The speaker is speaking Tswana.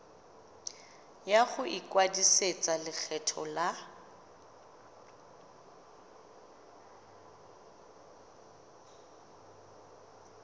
ya go ikwadisetsa lekgetho la